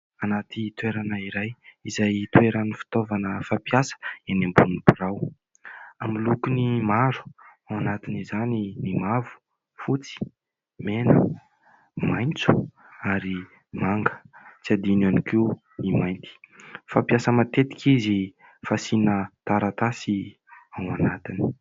Anaty toerana iray izay toeran'ny fitaovana fampiasa eny ambony birao, amin'ny lokony maro ao anatiny izany ny mavo, fotsy, mena, maitso ary manga, tsy adino ihany koa ny mainty. Fampiasa matetika izy fasiana taratasy ao anatiny.